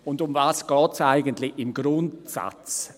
Und worum geht es eigentlich im Grundsatz?